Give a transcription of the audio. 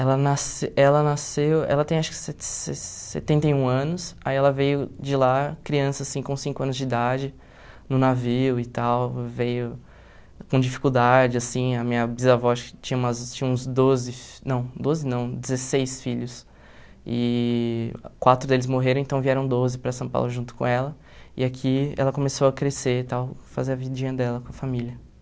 Ela nasce ela nasceu, ela tem acho que se se setenta e um anos, aí ela veio de lá, criança assim, com cinco anos de idade, no navio e tal, veio com dificuldade, assim, a minha bisavó acho que tinha umas tinha uns doze, não, doze não, dezesseis filhos, e quatro deles morreram, então vieram doze para São Paulo junto com ela, e aqui ela começou a crescer e tal, fazer a vidinha dela com a família.